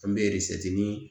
An bɛ